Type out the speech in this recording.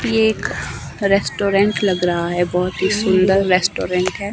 ये एक रेस्टोरेंट लग रहा है बहोत ही सुंदर रेस्टोरेंट है।